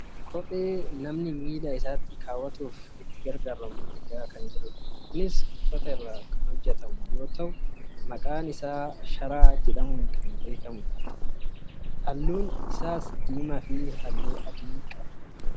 Kophee namni miila isaatti kaawwatuuf itti gargaarramu argaa kan jirrudha. Kunis uffata irraa kan hojjatamtu yoo taatu maqaan ishee sharaa jedhamuun kan beekkamtudha. Isheenis halluun ishee diimaa fi halluu adiidha.